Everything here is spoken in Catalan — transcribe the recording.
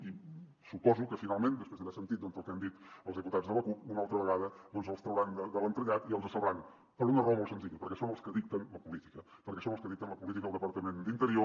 i suposo que finalment després d’haver sentit el que han dit els diputats de la cup una altra vegada doncs els trauran de l’entrellat i els salvaran per una raó molt senzilla perquè són els que dicten la política perquè són els que dicten la política al departament d’interior